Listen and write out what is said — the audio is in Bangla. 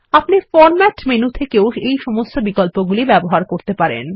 আপনি ফরম্যাট মেনু থেকেও এই সমস্ত বিকল্পগুলি ব্যবহার করতে পারবেন